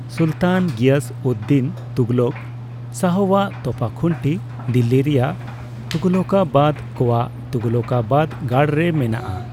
ᱥᱩᱞᱛᱟᱱ ᱜᱤᱭᱟᱥᱼᱩᱫᱽᱫᱤᱱ ᱛᱩᱜᱷᱞᱚᱠ ᱥᱟᱦᱚᱣᱟᱜ ᱛᱚᱯᱟᱠᱷᱩᱱᱴᱤ ᱫᱤᱞᱞᱤᱨᱮᱭᱟᱜ ᱛᱩᱜᱷᱚᱞᱚᱠᱟᱵᱟᱫ ᱠᱚᱣᱟᱜ ᱛᱩᱜᱷᱞᱚᱠᱟᱵᱟᱫ ᱜᱟᱲᱨᱮ ᱢᱮᱱᱟᱜᱼᱟ ᱾